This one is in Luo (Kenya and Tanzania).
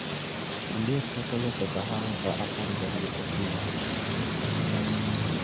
Ondiek chako loso kahawa sa apar gariyo okinyi